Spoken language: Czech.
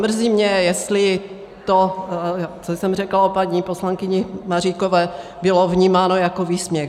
Mrzí mě, jestli to, co jsem řekla o paní poslankyni Maříkové, bylo vnímáno jako výsměch.